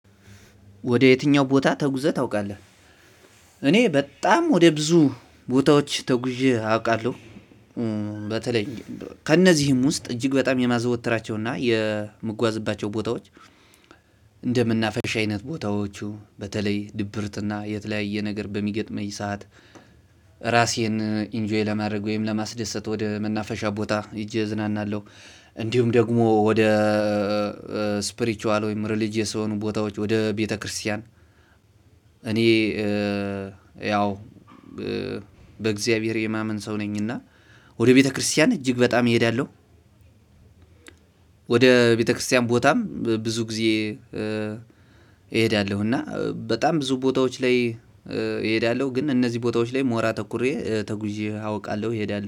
ወደ የትኛው ቦታ ተጉዘህ ታውቃለህ? እኔ በጣም ወደ ብዙ ቦታዎች ተጉዤ አውቃለሁ። በተለይ ከእነዚህም ውስጥ እጅግ በጣም የማዘወትራቸውና የምጓዝባቸው ቦታዎች። እንደመናፈሻ አይነት ቦታዎቹ በተለይ ድብርትና የተለያየ ነገር በሚገጥመኝ ሰዓት ራሴን ኢንጆይ ለማድረግ ወይም ለማስደሰት ወደ መናፈሻ ቦታ ሄጄ እዝናናለሁ። እንዲሁም ደግሞ ወደ ስፕሪችዋል ወይም ሪሊጅየስ የሆኑ ቦታዎች ወደ ቤተክርስቲያን እኔ ያው በእግዚአብሔር የማመን ሰው ነኝ። እና ወደ ቤተክርስቲያን እጅግ በጣም እሄዳለሁ። ወደ ቤተክርስቲያን ቦታም ብዙ ጊዜ እሄዳለሁ እና በጣም ብዙ ቦታዎች ላይ እሄዳለሁ። ግን እነዚህ ቦታዎች ላይ ሞራ ተኩሬ ተጉዤ አውቃለሁ እሄዳለሁ